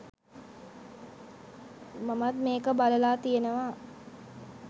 මමත් මේක බලලා තියෙනවා.